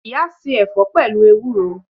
Iya se ẹ̀fọ́ pẹ̀lú ewúro